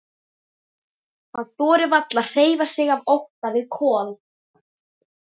Hann þorir varla að hreyfa sig af ótta við Kol.